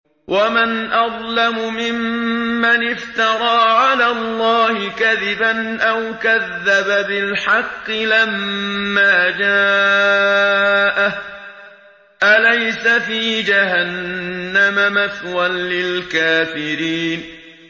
وَمَنْ أَظْلَمُ مِمَّنِ افْتَرَىٰ عَلَى اللَّهِ كَذِبًا أَوْ كَذَّبَ بِالْحَقِّ لَمَّا جَاءَهُ ۚ أَلَيْسَ فِي جَهَنَّمَ مَثْوًى لِّلْكَافِرِينَ